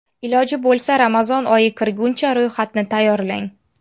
Iloji bo‘lsa Ramazon oyi kirguncha ro‘yxatni tayyorlang.